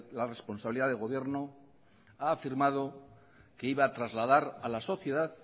la responsabilidad de gobierno ha afirmado que iba a trasladar a la sociedad